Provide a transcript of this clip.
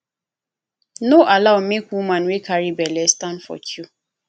no allow make woman wey carry belle stand for queue